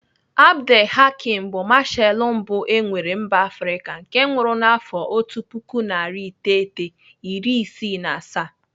Abdel Hakim bu mashalụ mbụ e nwere mba Afrịka nke nwụrụ n'afọ otu puku narị iteghete iri isii na asaa..